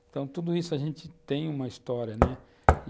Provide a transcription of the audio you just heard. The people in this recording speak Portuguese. Então, tudo isso a gente tem uma história, né?